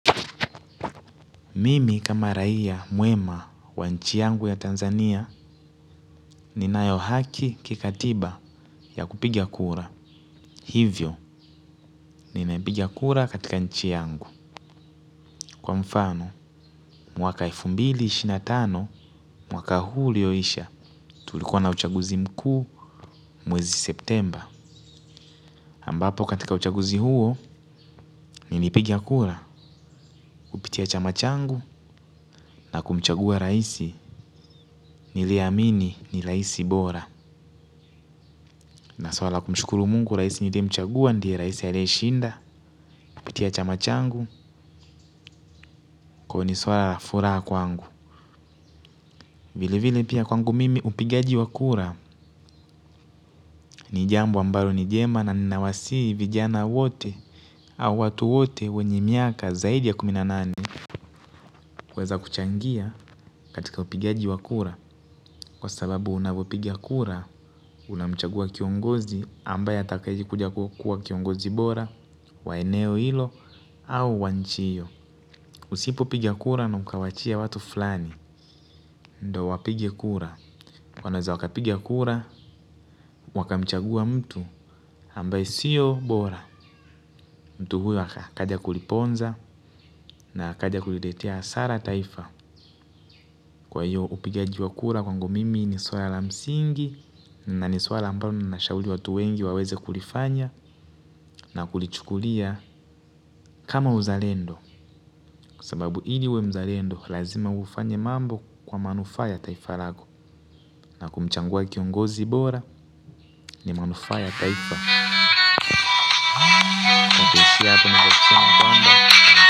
Mimi kama raia mwema wa nchi yangu ya Tanzania ninayo haki kikatiba ya kupiga kura. Hivyo, ninaipiga kura katika nchi yangu. Kwa mfano mwaka elfu mbili na ishirini na tano mwaka huu uliyoisha tulikuwa na uchaguzi mkuu mwezi septemba ambapo katika uchaguzi huo, nilipiga kura, kupitia chama changu na kumchagua rais, niliyeamini ni rais bora. Naswala kumshukuru mungu rais niliyemchagua ndiye rais aliyeshinda, kupitia chama changu, kwa hivyo ni swala la furaha kwangu. Vile vile pia kwangu mimi upigaji wa kura, ni jambo ambalo ni jema na ninawasihi vijana wote au watu wote wenye miaka zaidi ya kumi na nane. Kuweza kuchangia katika upigaji wa kura, kwa sababu unavyopiga kura, unamchagua kiongozi ambaye atakuja kuwa kiongozi bora, wa eneo ilo, au wa nchi hiyo. Usipopiga kura na ukawaachia watu fulani ndio wapige kura wanaweza wakapiga kura wakamchagua mtu ambaye sio bora mtu huyo akaja kuliponza na akaja kuliletea hasara taifa kwa hiyo upigaji wa kura kwangu mimi ni swala la msingi na ni swala ambayo ninashauri watu wengi waweze kulifanya na kulichukulia kama uzalendo kwa sababu ili uwe mzalendo lazima ufanye mambo kwa manufaa ya taifa lako. Na kumchagua kiongozi bora ni manufaa ya taifa.